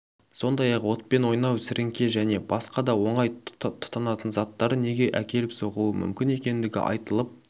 сондай-ақ отпен ойнау сіріңке және басқа да оңай тұтанатын заттар неге әкеліп соғуы мүмкін екендігі айтылып